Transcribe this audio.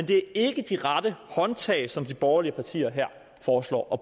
det er ikke de rette håndtag som de borgerlige partier her foreslår